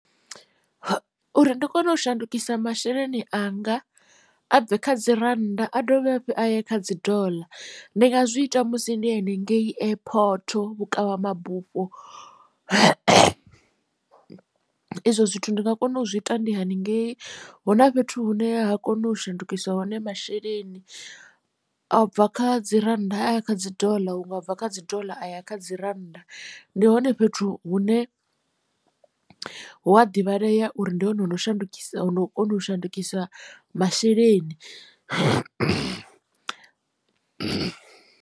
Uri ndi kone u shandukisa masheleni anga a bve kha dzi rannda a dovhe hafhu a ye kha dzi doḽa ndi nga zwi ita musi ndi henengei airport vhukavha mabufho izwo zwithu ndi nga kona u zwi ita ndi haningei hu na fhethu hune ha nga kona u shandukisa hone masheleni a bva kha dzi rannda aya kha dzi doḽa huṅwe abva kha dzi doḽa aya kha dzi rannda ndi hone fhethu hune hu a divhalea uri ndi hone hono shandukisa no kona u shandukisa masheleni.